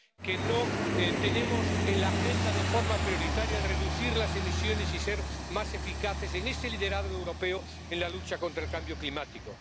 de que no tenemos en la agenda de forma prioritaria el reducir las emisiones y ser más eficaces en este liderazgo europeo en la lucha contra el cambio climático.